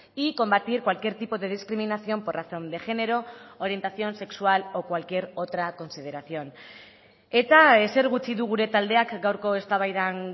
y combatir cualquier tipo de discriminación por razón de género orientación sexual o cualquier otra consideración eta ezer gutxi du gure taldeak gaurko eztabaidan